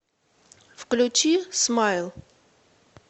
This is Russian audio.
включи смайл